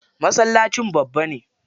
Masallacin babba ne.